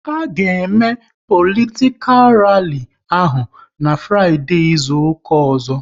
A ga eme politikal ralli ahụ n'Fraideee izuka ọzọ